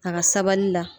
A ka sabali la